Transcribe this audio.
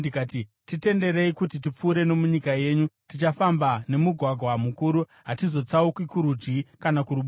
“Titenderei kuti tipfuure nomunyika yenyu. Tichafamba nemugwagwa mukuru; hatizotsauki kurudyi kana kuruboshwe.